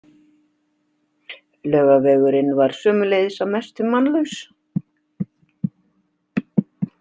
Laugavegurinn var sömuleiðis að mestu mannlaus.